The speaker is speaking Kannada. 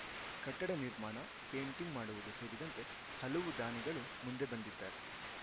ಕಟ್ಟಡ ನಿರ್ಮಾಣ ಪೇಂಟಿಂಗ್‌ ಮಾಡುವುದು ಸೇರಿದಂತೆ ಹಲವು ದಾನಿಗಳು ಮುಂದೆ ಬಂದಿದ್ದಾರೆ